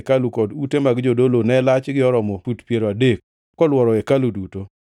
kod ute mag jodolo ne lachgi oromo fut piero adek kolworo hekalu duto.